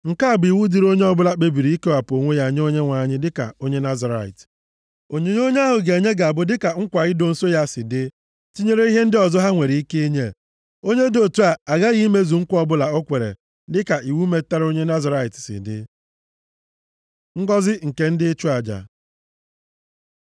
“ ‘Nke a bụ iwu dịrị onye ọ bụla kpebiri ikewapụ onwe ya nye Onyenwe anyị dịka onye Nazirait. Onyinye onye ahụ ga-enye ga-abụ dịka nkwa ido nsọ ya si dị, tinyere ihe ndị ọzọ ha nwere ike inye. Onye dị otu a aghaghị imezu nkwa ọbụla o kwere dịka iwu metụtara onye Nazirait si dị.’ ” Ngọzị nke ndị nchụaja